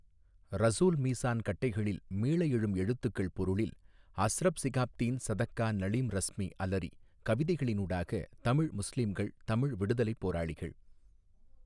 ரசூல் மீசான் கட்டைகளில் மீள எழும் எழுத்துக்கள் பொருளில் அஸ்ரப்சிகாப்தீன் ஸதக்கா நளீம் றஸ்மி அலறி கவிதைகளினூடாக தமிழ் முஸ்லிம்கள் தமிழ் விடுதலை போராளிகள்.